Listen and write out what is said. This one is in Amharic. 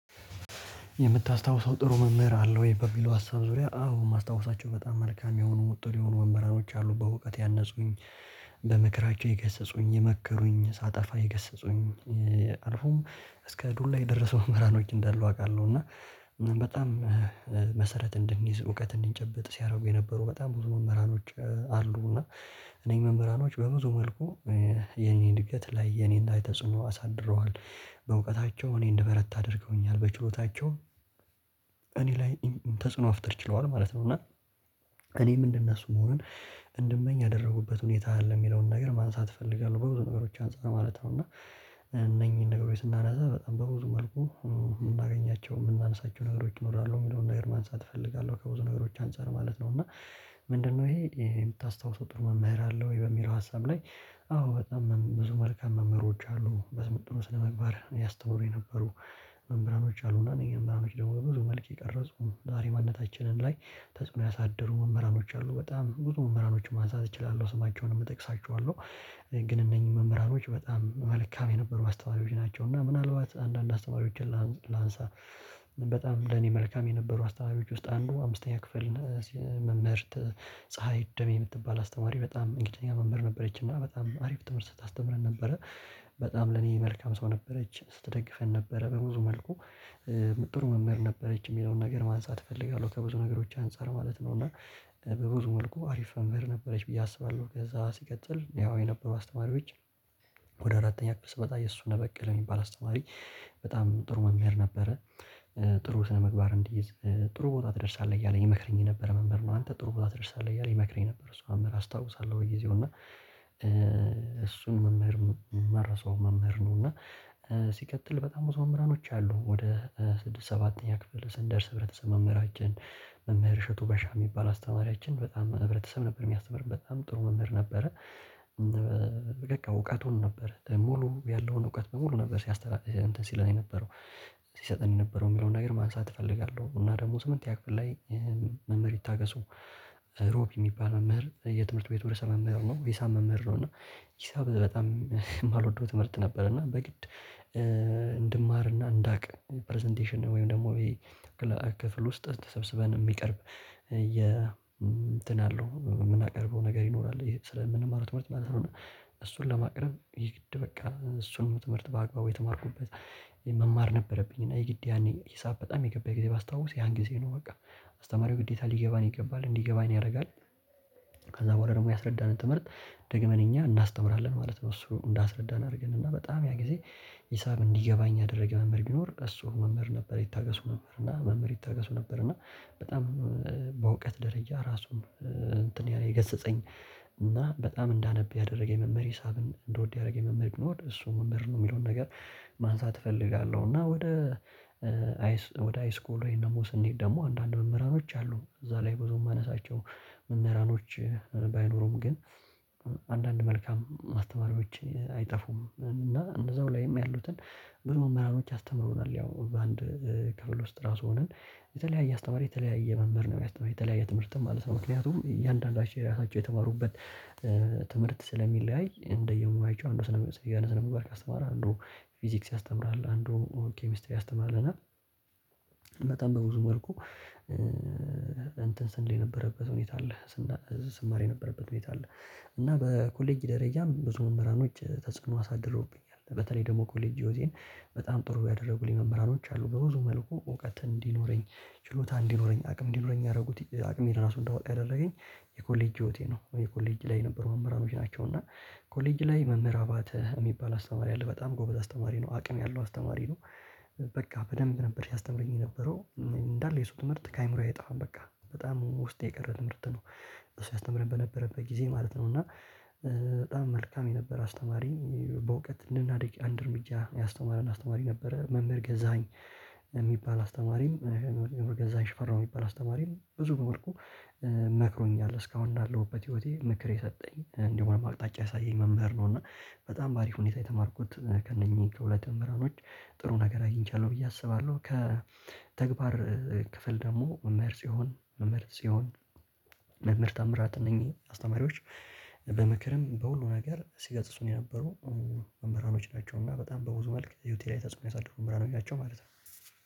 የምታስታውሰው ጥሩ መምህር አለው ወይ? በሚለው ሀሳብ ዙሪያ አዎ የማስታውሳቸው በጣም መልካም የሆኑ ጥሩ የሆኑ መምህርኖች አሉ በእውቀት ያነጹኝ በምክራቸው የገሰጹኝ የመከሩኝ ሳጠፋ የገሰጹኝ አልፎም እስከ ዱላ የደረሱ መምህራኖች እንዳሉ አውቃለሁ። እና በጣም መሰረት እንድንይዝ እውቀት እንድንጨብጥ ሲያደርጉ የነበሩ በጣም ብዙ መምህራኖች አሉ። እና እነኝህ መምህራኖች በብዙ መልኩ የኔ እድገት ላይ የኔ ላይ ተጽኖ አሳድረዋል በእውቀታቸው እኔ እንደበረታ አድርገውኛል። በችሎታቸው እኔ ላይም ተጽዕኖ መፍጠር ችለዋል ማለት ነው። እና እኔም እንደ እነሱ መሆን እንድመኝ ያደረጉበት ሁኔታ አለ። የሚለውን ነገር ማንሳት እፈልጋለሁ በብዙ ነገሮች አንፃር ማለት ነው። እና እነኚህን ነገሮች ስናነሳ በጣም በብዙ መልኩ የምናገኛቸው የምናነሳቸው ነገሮች ይኖራሉ የሚለውን ነገር ማንሳት እፈልጋለሁ። ከብዙ ነገሮች አንፃር ማለት ነው። እና ምንድነው ይሄ የምታስታውሰው ጥሩ መምህር አለው ወይ በሚለው ሀሳብ ላይ? አዎ በጣም ብዙ መልካም መምህሮች አሉ። በስመጥር ስነምግባር ያስተምሩ የነበሩ መምህራኖች አሉና እነኚህ መምህራኖች ደግሞ በብዙ መልክ የቀረጹ ዛሬ ማንነታችንም ላይ ተጽዕኖ ያሳድሩ መምህራኖች አሉ። በጣም ብዙ መምህራኖችን ማንሳት እችላለሁ ስማቸውንም እጠቅሳቸዋለሁ። ግን እነኚህ መምህራኖች በጣም መልካም የነበሩ አስተዋሪዎች ናቸው። እና ምናልባት አንዳንድ አስተዋሪዎችን ላንሳ። በጣም ለኔ መልካም የነበሩ አስተማሪዎች ውስጥ አንዱ አምስተኛ ክፍል መምህርት ፀሀይ ደሜ የምትባል አስተማሪ በጣም እንግሊዘኛ መምህር ነበረች። እና በጣም አሪፍ ትምህርት ታስተምረን ነበረ። በጣም ለኔ መልካም ሰው ነበረች ስትደግፈን ነበረ በብዙ መልኩ። ጥሩ መምህር ነበረች የሚለውን ነገር ማንሳት እፈልጋለሁ። ከብዙ ነገሮች አንፃር ማለት ነው። እና በብዙ መልኩ አሪፍ መምህር ነበረች ብዬ አስባለሁ። ከዛ ሲቀጥል ያው የነበሩ አስተማሪዎች። ወደ አራተኛ ክፍል ስመጣ የሱነህ በቀለ የሚባል አስተማሪ። በጣም ጥሩ መምህር ነበረ። ጥሩ ስነምግባር እንዲይዝ ጥሩ ቦታ ትደርሳለህ እያለ ይመክረኝ የነበረ መምህር ነው። አንተ ጥሩ ቦታ ትደርሳለህ እያለ ይመክረኝ ነበር። እሱ መምህር አስታውሳለሁ። በጊዜው እና እሱን መምህር እማረሰው መምህር ነው። እና ሲቀጥል በጣም ብዙ መምህራኖች አሉ። ወደ ስድስት ሰባተኛ ክፍለ ሰንደርስ ህብረተሰብ መምህራችን። መምህር እሸቱ በሻህ የሚባል አስተማሪያችን በጣም ህብረተሰብ ነበር የሚያስተምረን በጣም ጥሩ መምህር ነበረ። በቃ እውቀቱን ነበር ሙሉ ያለውን እውቀት በሙሉ ነበር ሲያስተላል እንትን ሲለን የነበረው። ሲሰጠን የነበረው የሚለውን ነገር ማንሳት እፈልጋለሁ። እና ደግሞ ስምንተኛ ክፍል ላይ መምህር ይታገሱ። ሮብ የሚባል መምህር የትምህርት ቤቱ ርዕሰ መምህር ነው ሂሳብ መምህር ነው። እና ሂሳብ በጣም የማልወደው ትምህርት ነበር። እና በግድ እንድማርና እንዳቅ ፕረዘንቴሽን ወይም ደግሞ ክፍል ውስጥ ተሰብስበን የሚቀርብ የ እንትን አለው የምናቀርበው ነገር ይኖራል ስለምንማረው ትምህርት ማለት ነው። እሱን ለማቅረብ የግድ በቃ እሱን ትምህርት በአግባቡ የተማርኩበት። መማር ነበረብኝ እና የግድ ያኔ ሂሳብ በጣም የገባኝ ጊዜ ባስታውስ ያን ጊዜ ነው። በቃ አስተማሪው ግዴታ ሊገባን ይገባል እንዲገባን ያደርጋል። ከዛ በኋላ ደግሞ ያስረዳንን ትምህርት ደግመን እኛ እናስተምራለን ማለት ነው። እሱ እንዳስረዳን አድርገን እና በጣም ያ ጊዜ። ሂሳብ እንዲገባኝ ያደረገ መምህር ቢኖር እሱ መምህር ነበር። ይታገሱ መምህር እና መምህር ይታገሱ ነበር። እና በጣም በእውቀት ደረጃ ራሱን እንትን ያለ የገሰጸኝ። እና በጣም እንዳነብ ያደረገኝ መምህር ሂሳብን እንደወድ መምህር ቢኖር እሱ መምህር ነው የሚለውን ነገር። ማንሳት እፈልጋለሁ። እና ወደ አይስ ወደ አይስኩል ወይንም ደግሞ ስንሄድ ደግሞ አንዳንድ መምህራኖች አሉ። እዛ ላይ ብዙ የማነሳቸው መምህራኖች። ባይኖሩም ግን አንዳንድ መልካም አስተማሪዎች አይጠፉም። እና እንዛው ላይም ያሉትን ብዙ መምህራኖች አስተምረውናል። ያው በአንድ ከፍል ውስጥ ራሱ ሆነን የተለያየ አስተማሪ የተለያየ መምህር ነው የሚያስተማረው የተለያየ ትምህርት ማለት ነው። ምክንያቱም እያንዳንዳቸው ራሳቸው የተማሩበት። ትምህርት ስለሚለያይ እንደየ ሙያቸው አንዱ ስነ የሆነ ስነ ምግባር ካስተማረ አንዱ ፊዚክስ ያስተምራል አንዱ ኬሚስተር ያስተምራል እና። በጣም በብዙ መልኩ እንትን ስንል የነበረበት ሁኔታ አለ። ስማር የነበረበት ሁኔታ አለ። እና በኮሌጅ ደረጃም ብዙ መምህራኖች ተጽዕኖ አሳድርውብኛል። በተለይ ደግሞ ኮሌጅ ህይወቴን በጣም ጥሩ ያደረጉልኝ መምህራኖች አሉ። በብዙ መልኩ እውቀት እንዲኖረኝ ችሎታ እንዲኖረኝ አቅም እንዲኖረኝ ያደረጉት አቅሜን ራሱ እንዳወጣ ያደረገኝ። የኮሌጅ ህይወቴ ነው የኮሌጅ ላይ ነበር መምህራኖች ናቸው። እና ኮሌጅ ላይ መምህራ አባተ የሚባል አስተማሪ አለ በጣም ጎበዝ አስተማሪ ነው። አቅም ያለው አስተማሪ ነው። በቃ በደንብ ነበር ሲያስተምረኝ የነበረው እንዳለ የሱ ትምህርት ከአይምሮዬ አይጠፋም። በቃ በጣም ውስጥ የቀረ ትምህርት ነው። እሱ ያስተምረን በነበረበት ጊዜ ማለት ነው። እና በጣም መልካም የነበረ አስተማሪ በእውቀት እንደናድግ አንድ እርምጃ ያስተማረን አስተማሪ ነበረ። መምህር ገዛኸኝ። የሚባል አስተማሪም መምህር ገዛኸኝ ሽፈራው የሚባል አስተማሪም በብዙ መልኩ መክሮኛል እስካሁን ላለሁበት ህይወቴ ምክር የሰጠኝ እንዲሁም አቅጣጫ ያሳየኝ መምህር ነው። እና በጣም በአሪፍ ሁኔታ የተማርኩት ከእነኚህ ከሁለት መምህራኖች ጥሩ ነገር አግኝቻለሁ። ብዬ አስባለሁ። ከተግባር ክፍል ደግሞ መምህር ጺዮን መምህር ጺዮን መምህር ታምራት እነኚህ አስተማሪዎች። በምክርም በሁሉም ነገር ሲገስጹን የነበሩ መምህራኖች ናቸውና በጣም በብዙ መልክ ሂወቴ ላይ ተጽዕኖ ያሳደሩ መምህራኖች ናቸው። ማለት ነው።